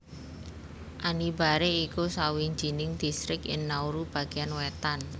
Anibare iku sawijining distrik ing Nauru bagéan wétan